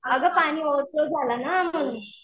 अगं पाणी ओव्हरफ्लो झाला ना म्हणून.